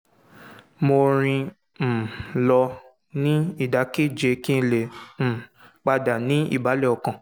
mo rìn um lọ ní ìdákẹ́jẹ́ẹ́ kí n lè um padà ní ìbàlẹ̀ ọkàn